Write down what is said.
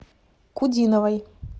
кудиновой